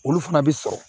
Olu fana bɛ sɔrɔ